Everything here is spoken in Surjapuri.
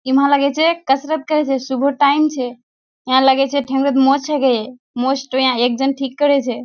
इमें लगे छै कसरत करे छै सुबह टाइम छै यहाँ लगे छै ठेंगनाच मोच हके मोच के यहां एक जन ठीक करे छै।